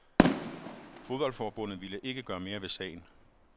Fodboldforbundet ville ikke gøre mere ved sagen.